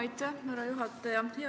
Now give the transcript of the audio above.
Aitäh, härra juhataja!